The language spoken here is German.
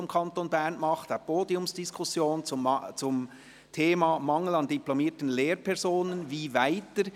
Es geht um eine Podiumsdiskussion zum Thema «Mangel an diplomierten Lehrpersonen – wie weiter?